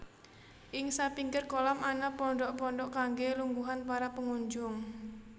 Ing sapinggir kolam ana pondhok pondhok kangge lungguhan para pengunjung